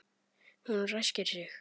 Hún ræskir sig.